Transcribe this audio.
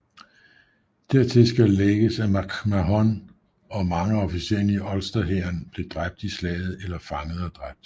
Dertil skal lægges at MacMahon og mange af officererne i Ulsterhæren blev dræbt i slaget eller fanget og dræbt